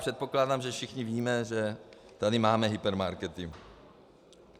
Předpokládám, že všichni víme, že tady máme hypermarkety.